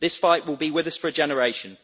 This fight will be with us for a generation.